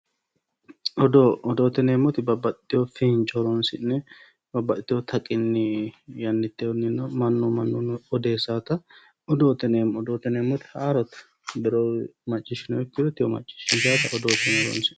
Odoo, odoote yinneemmoti babbaxxitino fiinco horonsi'ne babbaxitino taqinni yannite mannu mannunino ikko odeessanotta odoote yinneemmo, odoote yinneemmoti haarore maccishshineemmotta odoote yineemmo.